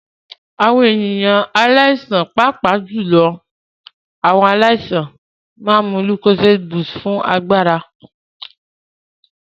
Àwọn ènìyàn pàápàá jùlọ àwọn aláìsàn máa ń mu lúkóséédí búsúùtù fún agbára.